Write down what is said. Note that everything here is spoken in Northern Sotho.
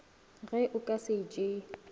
ge o ka se tšee